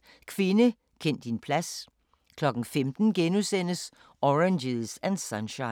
14:30: Kvinde, kend din plads * 15:00: Oranges and Sunshine *